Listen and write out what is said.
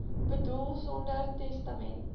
boedel sonder testament